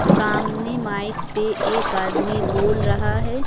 सामने माइक पे एक आदमी बोल रहा है।